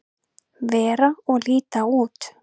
vera og líta út.